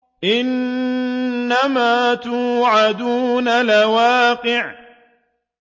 إِنَّمَا تُوعَدُونَ لَوَاقِعٌ